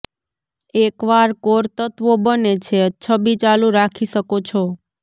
એકવાર કોર તત્વો બને છે છબી ચાલુ રાખી શકો છો